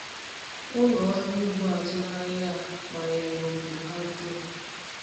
Ụlọ ọrụ ugbo azụmahịa a gbanwere obodo ha dum.